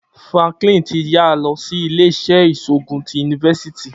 Franklin ti yara lọ si ile-iṣẹ iṣoogun ti University.